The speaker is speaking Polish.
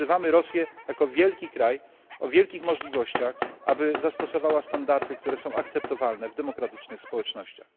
Dlatego wzywamy Rosję, jako wielki kraj o wielkich możliwościach, aby zastosowała standardy, które są akceptowalne w demokratycznych społecznościach.